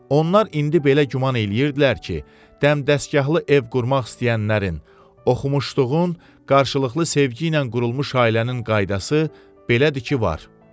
Onlar indi belə güman eləyirdilər ki, dəmdəstgahlı ev qurmaq istəyənlərin, oxumuşduğun qarşılıqlı sevgi ilə qurulmuş ailənin qaydası belədir ki, var.